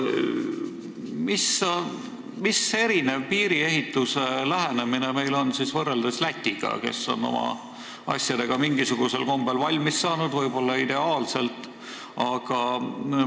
Mismoodi on meil teistsugune lähenemine piiriehitusele kui Lätil, kes on oma asjadega mingisugusel kombel võib-olla ideaalselt valmis saanud?